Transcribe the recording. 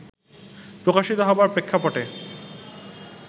প্রকাশিত হবার প্রেক্ষাপটে